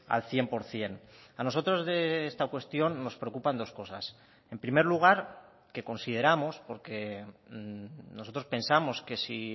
al cien por ciento a nosotros de esta cuestión nos preocupan dos cosas en primer lugar que consideramos porque nosotros pensamos que si